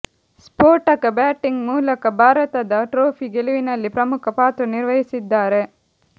ಸ್ಫೋಟಕ ಬ್ಯಾಟಿಂಗ್ ಮೂಲಕ ಭಾರತದ ಟ್ರೋಫಿ ಗೆಲುವಿನಲ್ಲಿ ಪ್ರಮುಖ ಪಾತ್ರ ನಿರ್ವಹಿಸಿದ್ದಾರೆ